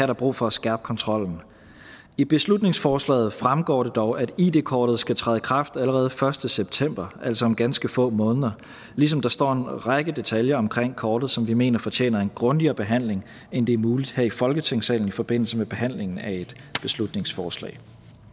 der brug for at skærpe kontrollen i beslutningsforslaget fremgår det dog at id kortet skal træde i kraft allerede den første september altså om ganske få måneder ligesom der står en række detaljer omkring kortet som vi mener fortjener en grundigere behandling end det er muligt her i folketingssalen i forbindelse med behandlingen af et beslutningsforslag